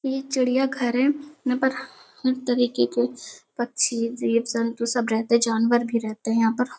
ये चिड़िया घर है। यहाँ पर हर तरीके के पक्षी जीव जंतु सब रहते हैं। जानवर भी रहते हैं यहाँ पर।